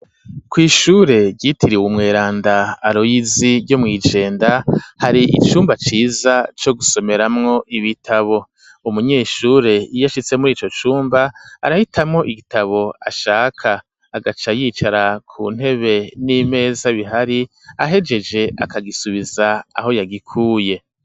Kw'ishure ryitiriwe Umweranda Aroyizi ryo mw'ijenda hari icumba ciza co gusomeramwo ibitabo, umunyeshure yiye ashitse muri ico cumba arahitamwo igitabo ashaka, agaca yicara ku ntebe n'imeza bihari ,ahejeje akagisubiza aho yagikuye.